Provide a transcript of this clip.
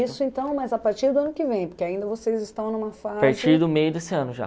Isso então, mas a partir do ano que vem, porque ainda vocês estão numa fase... A partir do meio desse ano já.